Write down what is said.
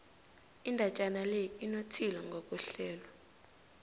indatjana le inothile ngokwehlelo